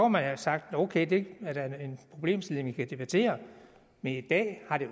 man have sagt ok det er da en problemstilling vi kan debattere men i dag har det